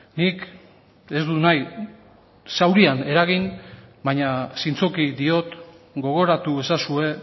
nik ez dut nahi zaurian eragin baina zintzoki diot gogoratu ezazue